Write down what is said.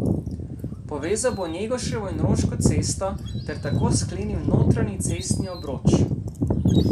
Povezal bo Njegoševo in Roško cesto ter tako sklenil notranji cestni obroč.